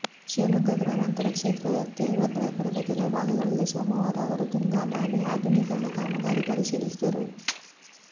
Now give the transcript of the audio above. ಶಿವಮೊಗ್ಗ ಗ್ರಾಮಾಂತರ ಕ್ಷೇತ್ರ ವ್ಯಾಪ್ತಿಯ ಭದ್ರಾಪುರದ ಕೆಲವು ಭಾಗಗಳಲ್ಲಿ ಸೋಮವಾರ ಅವರು ತುಂಗಾ ನಾಲೆ ಆಧುನೀಕರಣ ಕಾಮಗಾರಿ ಪರಿಶೀಲಿಸಿದರು